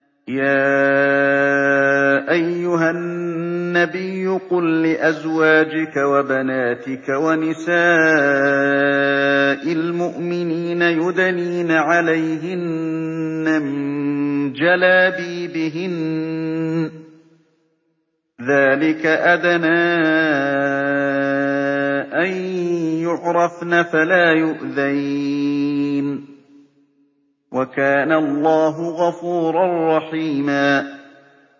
يَا أَيُّهَا النَّبِيُّ قُل لِّأَزْوَاجِكَ وَبَنَاتِكَ وَنِسَاءِ الْمُؤْمِنِينَ يُدْنِينَ عَلَيْهِنَّ مِن جَلَابِيبِهِنَّ ۚ ذَٰلِكَ أَدْنَىٰ أَن يُعْرَفْنَ فَلَا يُؤْذَيْنَ ۗ وَكَانَ اللَّهُ غَفُورًا رَّحِيمًا